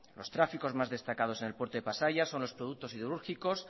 los tráficos más destacados en el puerto de pasaia son los productos siderúrgicos